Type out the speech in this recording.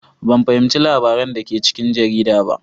Ban fahimci labaran da ke cikin jarida ba.